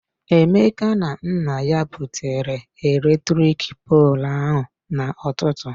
Emeka na nna ya butere eletrik poolụ ahụ na-ụtụtụ.